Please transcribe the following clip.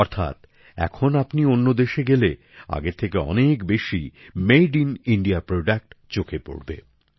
অর্থাৎ এখন আপনি অন্য দেশে গেলে আগের থেকে অনেক বেশি মেড ইন ইণ্ডিয়া পণ্য আপনার চোখে পড়বে